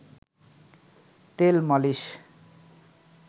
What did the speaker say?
তেল মালিশ